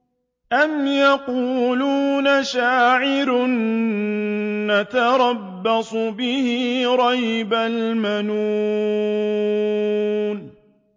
أَمْ يَقُولُونَ شَاعِرٌ نَّتَرَبَّصُ بِهِ رَيْبَ الْمَنُونِ